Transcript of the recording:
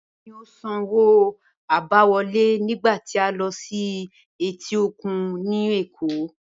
Báyò̩ ni ó sanwó àbáwo̩lé nígbà tí a lo̩ sí etí òkun ní Èkó